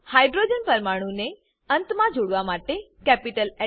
hydrogen પરમાણુ ને અંતમાં જોડવા માટે કેપિટલ હ